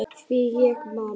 Því ég man!